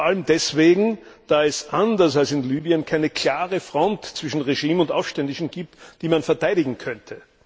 Vor allem deswegen, da es anders als in Libyen keine klare Front zwischen Regime und Aufständischen gibt, die man verteidigen könnte.